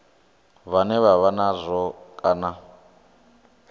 vhane vha vha nazwo kana